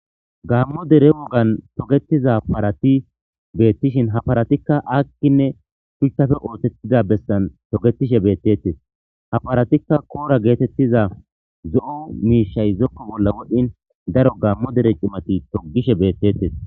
gaammo dere wogan togetiza parati beettishin ha paratikka akkinne shuchchafe ootettida bessan togetishe beettettes ha paratikka koora geetettiza zo7o miishay zokko bolla wodhdhin daro gaammo dere cimati togishe beettettes